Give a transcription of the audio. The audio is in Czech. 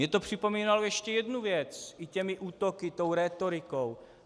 Mně to připomínalo ještě jednu věc i těmi útoky, tou rétorikou.